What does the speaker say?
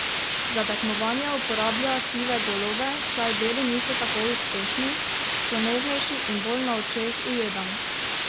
Za tekmovanja uporablja sive golobe, saj beli niso tako uspešni: "So nežnejši in bolj na očeh ujedam.